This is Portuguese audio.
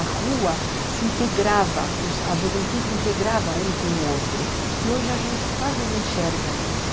A rua se integrava, a juventude integrava um com o outro, que hoje a gente quase não enxerga isso.